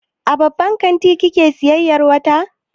A babban kanti kike sayayyar wata?